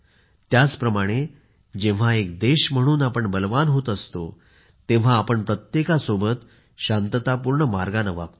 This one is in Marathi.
त्याचप्रमाणे जेव्हा एक देश म्हणून आपण बलवान होत असतो तेव्हा आपण प्रत्येकासोबत शांततापूर्ण मार्गाने वागतो